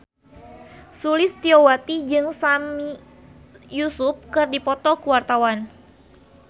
Sulistyowati jeung Sami Yusuf keur dipoto ku wartawan